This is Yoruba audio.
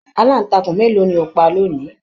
Alantakun mélòó ni o ti pa lóni?